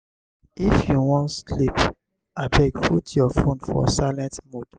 if you wan sleep abeg put your fone for silent mode.